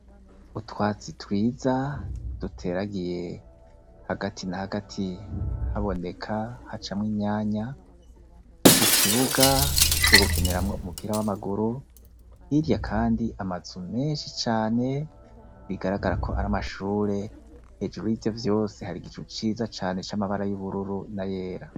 Utwatsi twiza duteragiye hagati na hagati haboneka hacamwo imyanya, ikibuga co gukiniramwo umupira w'amaguru, hirya kandi amazu menshi cane bigaragara ko ari amashure, hejuru yivyo vyose hari igicu ciza cane c'amabara y'ubururu n'ayera.